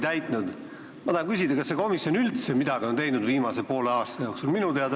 Mina tahan küsida, kas see komisjon on viimase poole aasta jooksul üldse midagi teinud.